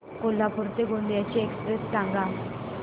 कोल्हापूर ते गोंदिया ची एक्स्प्रेस सांगा